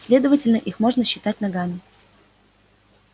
следовательно их можно считать ногами